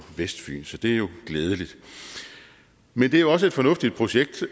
vestfyn så det er jo glædeligt men det er jo også et fornuftigt projekt